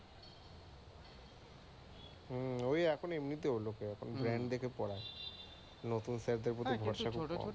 হম, ঐ এখন এমনিতেও লোক এ brand দেখে পড়ায়। নতুন স্যারদের প্রতি